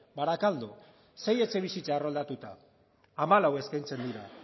barakaldo sei etxebizitza erroldatuta hamalau eskaintzen dira